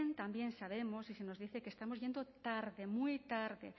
también sabemos y se nos dice que estamos yendo tarde muy tarde